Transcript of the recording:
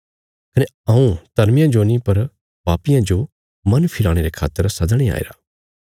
कने हऊँ धर्मियां जो नीं पर पापियां जो मन फिराणे रे खातर सदणे आईरा